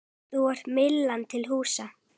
Þar er Myllan til húsa.